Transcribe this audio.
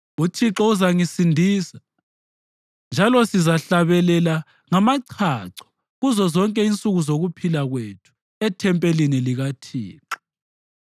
UThixo uzangisindisa; njalo sizahlabelela ngamachacho kuzozonke insuku zokuphila kwethu ethempelini likaThixo.